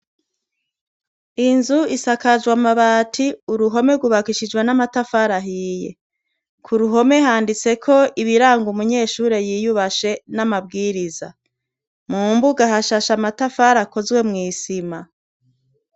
Inzu isakajwe amabati, uruhome rwubakishijwe n'amatafari ahiye. Kuruhome handitseko ibiranga umunyeshure yiyubashe namabwirizwa. Mumbuga hashashe amatafari akozwe mwisima.